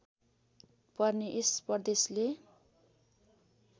पर्ने यस प्रदेशले